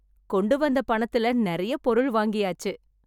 கொண்டு வந்த பணத்துல நிறைய பொருள் வாங்கியாச்சு